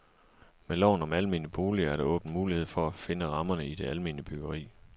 Med loven om almene boliger er der åbnet mulighed for at finde rammerne i det almene byggeri.